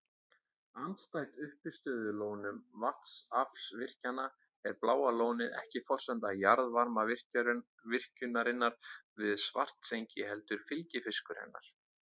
Andstætt uppistöðulónum vatnsaflsvirkjana er Bláa lónið ekki forsenda jarðvarmavirkjunarinnar við Svartsengi heldur fylgifiskur hennar.